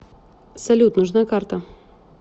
салют нужна карта